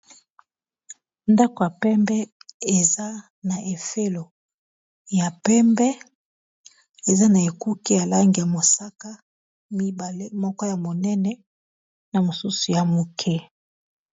ndako ya pembe eza na fololo ya pembe eza na ekuke ya langi ya mosaka mibale moko ya monene na mosusu ya moke